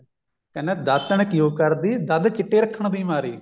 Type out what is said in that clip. ਕਹਿੰਦਾ ਦਾਤਣ ਕਿਉਂ ਕਰਦੀ ਦੰਦ ਚਿੱਟੇ ਰੱਖਣ ਦੀ ਮਾਰੀ